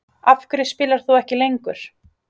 Af hverju spilar þú ekki lengur?